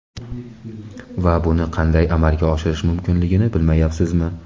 Va buni qanday amalga oshirish mumkinligini bilmayapsizmi?